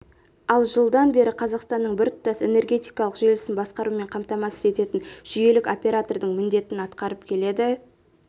ал жылдан бері қазақстанның біртұтас энергетикалық желісін басқарумен қамтамасыз ететін жүйелік оператордың міндетін атқарып келеді